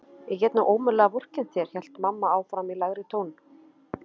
Ég get nú ómögulega vorkennt þér hélt mamma áfram í lægri tón.